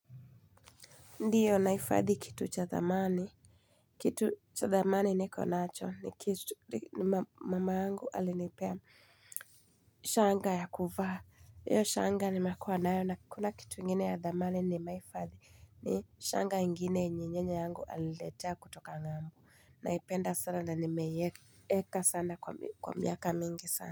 Ndiyo nahifadhi kitu cha dhamani. Kitu cha dhamani nikonacho ni kitu mama yangu alinepea. Shanga ya kuvaa hiyo shanga nimekuwa nayo na hakuna kitu ingine ya dhamani ni meifadhi ni shanga ingine yenye nyanya yangu aliniletea kutoka ng'ambo. Naipenda sana na nimeieka sana kwa miaka mingi sana.